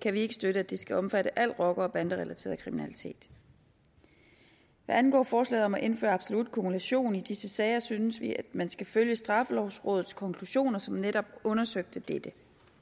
kan vi ikke støtte at det skal omfatte al rocker og banderelateret kriminalitet hvad angår forslaget om at indføre absolut kumulation i disse sager synes vi at man skal følge straffelovrådet som netop undersøgte dette